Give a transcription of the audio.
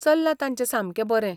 चल्लां तांचें सामकें बरें.